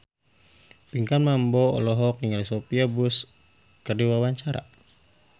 Pinkan Mambo olohok ningali Sophia Bush keur diwawancara